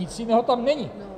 Nic jiného tam není.